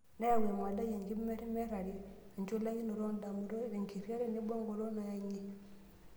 Neyau emodai, enkimerimerrari, enchulakinoto oo ndamunot, enkiterria tenebo engolon nayang'ie.